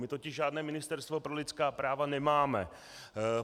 My totiž žádné ministerstvo pro lidská práva nemáme.